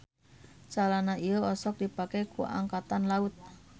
Calana ieu osok dipake ku angkatan laut.